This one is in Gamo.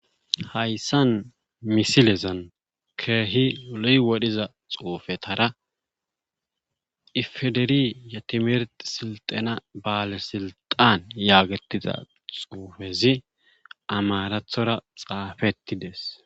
Hayssan misilezan keehi lo7i wodhiza xuufetara iffiferi yetimirtti sinxxena bale silxxaan yaagettiza xuufezi amaarathora xaafettides.